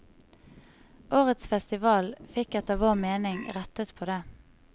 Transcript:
Årets festival fikk etter vår mening rettet på det.